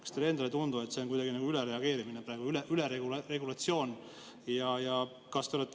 Kas teile endale ei tundu, et see on kuidagi ülereageerimine praegu, üleregulatsioon?